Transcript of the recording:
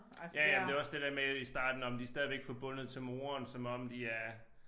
Ja ja men det jo også det der med i starten nåh men de stadigvæk forbundet til moren som om de er